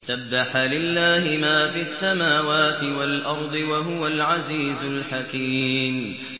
سَبَّحَ لِلَّهِ مَا فِي السَّمَاوَاتِ وَالْأَرْضِ ۖ وَهُوَ الْعَزِيزُ الْحَكِيمُ